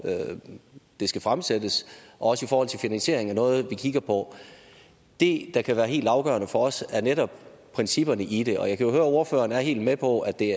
det skal fremsættes og finansieringen er noget vi kigger på det der kan være helt afgørende for os er netop principperne i det og jeg kan høre ordføreren er helt med på at det